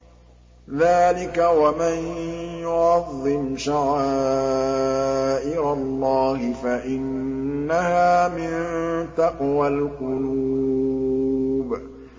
ذَٰلِكَ وَمَن يُعَظِّمْ شَعَائِرَ اللَّهِ فَإِنَّهَا مِن تَقْوَى الْقُلُوبِ